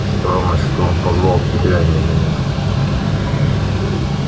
странно что он позвал тебя а не меня